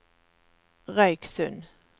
Røyksund